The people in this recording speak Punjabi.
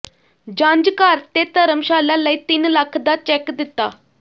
ਜੰਝ ਘਰ ਤੇ ਧਰਮਸ਼ਾਲਾ ਲਈ ਤਿੰਨ ਲੱਖ ਦਾ ਚੈੱਕ ਦਿੱਤਾ